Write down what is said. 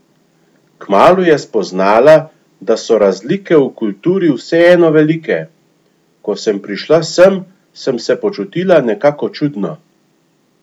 Kmalu je spoznala, da so razlike v kulturi vseeno velike: "Ko sem prišla sem, sem se počutila nekako čudno.